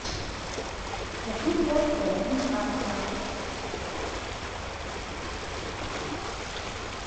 хочу в туапсе из арска